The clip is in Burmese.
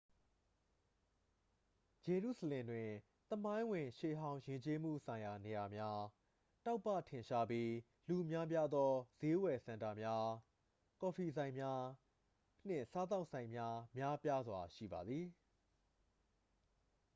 ဂျေရုဆလင်တွင် သမိုင်းဝင် ရှေးဟောင်း ယဉ်ကျေးမှုဆိုင်ရာနေရာများ တောက်ပထင်ရှားပြီး လူများပြားသော စျေးဝယ်စင်တာများ ကော်ဖီဆိုင်များ နှင့် စားသောက်ဆိုင်များ များပြားစွာရှိပါသည်